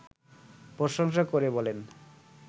প্রশংসা করে বলেন